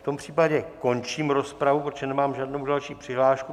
V tom případě končím rozpravu, protože nemám žádnou další přihlášku.